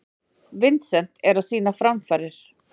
Vincent er að sýna framfarir.